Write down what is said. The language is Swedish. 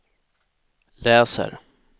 läser